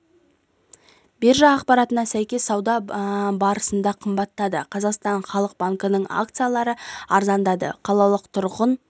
биржа ақпаратына сәйкес сауда барысында қымбаттады қазақстан халық банкінің акциялары арзандады қалалық тұрғын